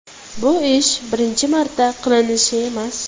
Bu ish birinchi marta qilinishi emas.